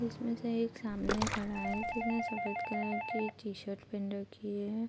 जिसमें एक सामने खड़ा है जिसने सफेद की टी-शर्ट पहन रखी है।